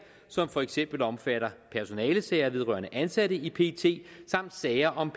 som for eksempel omfatter personalesager vedrørende ansatte i pet samt sager om